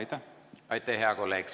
Aitäh, hea kolleeg!